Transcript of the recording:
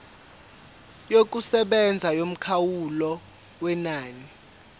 yokusebenza yomkhawulo wenani